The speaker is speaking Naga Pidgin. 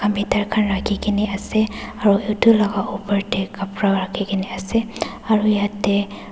rakhikaena ase aru edu laka opor tae kapra rakhikena ase aru yatae.